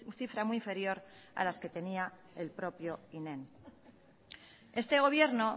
cifra muy inferior a las que tenía el propio inem este gobierno